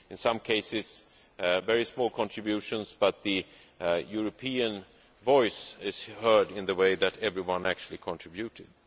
In some cases, they were very small contributions, but the European voice is heard in the sense that everyone actually contributed.